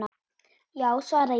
Já, svara ég.